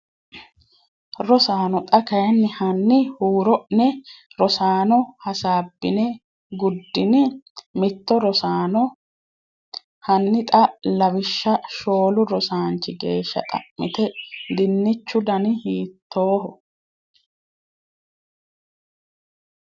Rosaano xa kayinni hanni huuro’ne Rosaano hasaabbine guddinni? Mito Rosaano hanni xa lawishsha shoolu rosaanchi geeshsha xa’mite dinichu dani hiitoho?